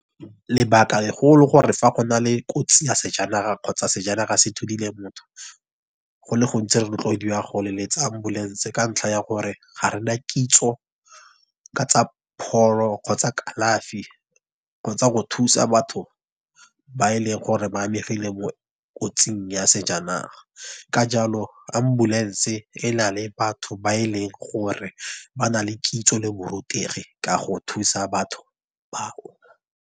Lebaka le gole gore fa gona le kotsi ya sejanaga kgotsa sejanaga se nthudile motho, go le gontsi re rotloediwa go leletsa Ambulance. Ka ntlha ya gore ga rena kitso ka tsa pholo kgotsa kalafi. Kgotsa go thusa batho ba e leng gore ba amegile mo kotsing ya sejanaga. Ka jalo Ambulance e nale batho ba e leng gore ba na le kitso le borutegi ka go thusa batho bao.